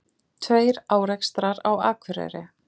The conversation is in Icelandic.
Tveir árekstrar á Akureyri